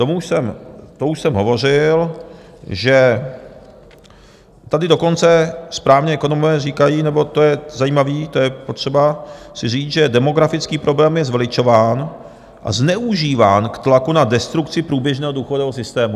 To už jsem hovořil, že tady dokonce správní ekonomové říkají, nebo to je zajímavé, to je potřeba si říct, že demografický problém je zveličován a zneužíván k tlaku na destrukci průběžného důchodového systému.